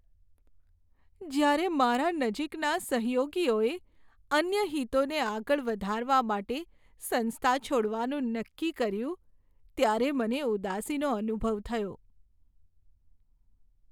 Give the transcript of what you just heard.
જ્યારે મારા નજીકના સહયોગીએ અન્ય હિતોને આગળ વધારવા માટે સંસ્થા છોડવાનું નક્કી કર્યું ત્યારે મને ઉદાસીનો અનુભવ થયો.